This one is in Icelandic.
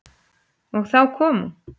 Og þá kom hún.